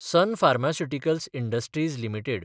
sun Pharmaceuticals Industries limited